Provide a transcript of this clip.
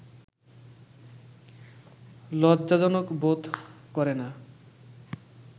লজ্জাজনক বোধ করে না